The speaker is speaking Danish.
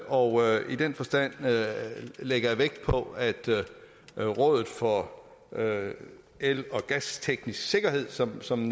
og i den forstand lægger jeg vægt på at rådet for el og gasteknisk sikkerhed som som